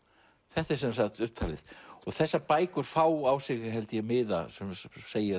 þetta er sem sagt upptalið og þessar bækur fá á sig held ég miða sem segir